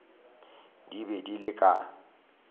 di be di le ka